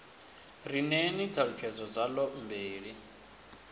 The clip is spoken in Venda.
ri ṋeeni ṱhalutshedzo dzaḽo mbili